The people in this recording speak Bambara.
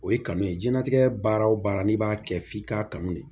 O ye kanu ye diɲɛlatigɛ baara o baara n'i b'a kɛ f'i k'a kanu de